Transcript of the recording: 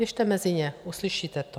Běžte mezi ně, uslyšíte to.